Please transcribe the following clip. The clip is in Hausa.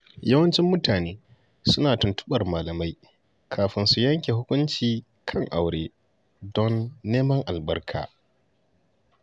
Yawancin mutane suna tuntuɓar malamai kafin su yanke hukunci kan aure don neman albarka.